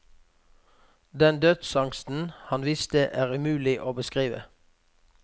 Den dødsangsten han viste, er umulig å beskrive.